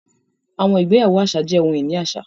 Àwọn igbeyawo àṣà jẹ́ oḥun-ini àṣà